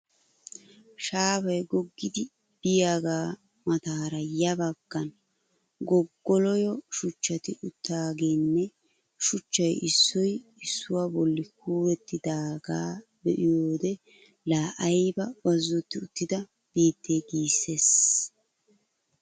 Shaafay goggidi biyaagaa mataara ya baggan goggoloy shuchchati uttidageenne shuchchay issoy issuwaa bolli kuurettidagaa be'iyoode laa ayba bazotti uttida biittee giisses!